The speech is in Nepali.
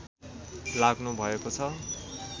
लाग्नु भएको छ